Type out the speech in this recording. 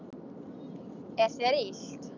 Er þér illt?